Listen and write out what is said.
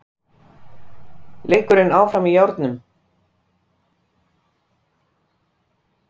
Leikurinn áfram í járnum